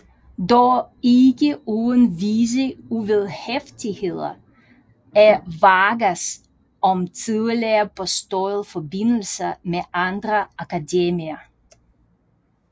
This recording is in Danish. Dog ikke uden visse uvederhæftigheder af Vargas om tidligere påståede forbindelser med andre akademier